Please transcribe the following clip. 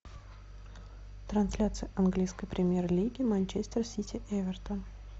трансляция английской премьер лиги манчестер сити эвертон